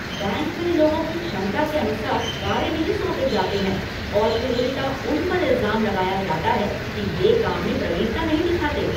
Bank में लोगों की क्षमता के अनुसार कार्य नहीं सौंपें जाते हैं और फिर उल्टा उन पर इल्ज़ाम लगाया जाता है कि वे काम में प्रवीणता नहीं दिखाते।